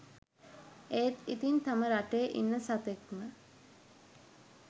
එත් ඉතින් තම රටේ ඉන්න සතෙක්ම